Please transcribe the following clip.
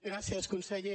gràcies conseller